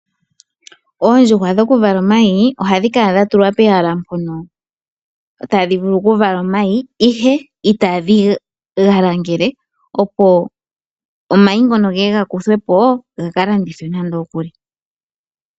Oondjuhwa dhokuvala omayi ohadhi kala dhatulwa pehala mpono tadhi vulu okuvala omayi, ihe itadhi ga langele, opo omayi ngono ge ye ga kuthwe po ga ka landithwe.